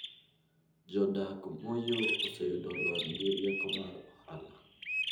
Jodak Moyoo oseyudo lony gi rieko mar ohala.